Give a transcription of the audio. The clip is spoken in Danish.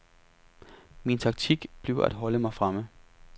Min taktik bliver at holde mig fremme.